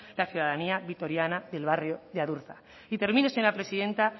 la ciudadanía vitoriana del barrio de adurza y termino señora presidenta